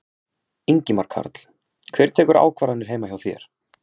Ingimar Karl: Hver tekur ákvarðanir heima hjá þér?